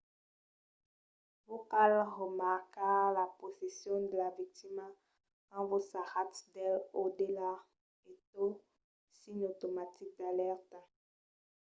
vos cal remarcar la posicion de la victima quand vos sarratz d’el o d’ela e tot signe automatic d’alèrta